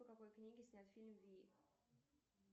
по какой книге снят фильм вий